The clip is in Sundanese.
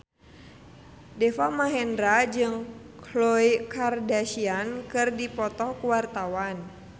Deva Mahendra jeung Khloe Kardashian keur dipoto ku wartawan